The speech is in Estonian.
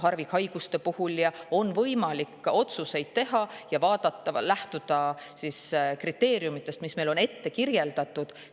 Harvikhaiguste puhul on ka kahtlemata võimalik otsuseid teha, lähtudes kriteeriumidest ja vaadates, mis meile on ette antud.